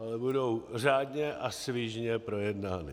Ale budou řádně a svižně projednány.